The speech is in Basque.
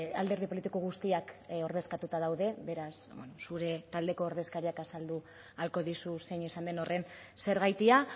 alderdi politiko guztiak ordezkatuta daude beraz zure taldeko ordezkariak azaldu ahalko dizu zein izan den horren zergatia